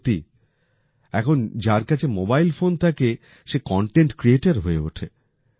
সত্যি এখন যার কাছে মোবাইল ফোন থাকে সে কনটেন্ট ক্রিয়েটর হয়ে ওঠে